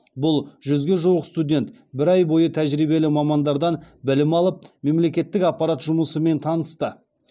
бұл жүзге жуық студент бір ай бойы тәжірибелі мамандардан білім алып мемлекеттік аппарат жұмысымен танысты